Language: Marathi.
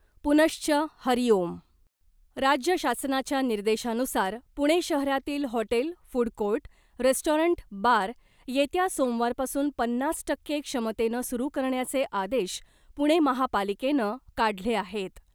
पुनश्च हरीओम राज्य शासनाच्या निर्देशानुसार पुणे शहरातील hotel , food court , restaurant bar येत्या सोमवारपासून पन्नास टक्के क्षमतेनं सुरू करण्याचे आदेश पुणे महापालिकेनं काढले आहेत .